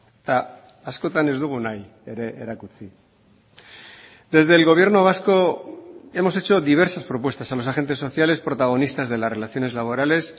eta askotan ez dugu nahi ere erakutsi desde el gobierno vasco hemos hecho diversas propuestas a los agentes sociales protagonistas de las relaciones laborales